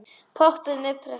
Pompuð með pragt.